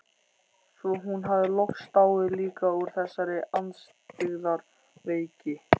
Svo hún hafði loks dáið líka úr þessari andstyggðar veiki.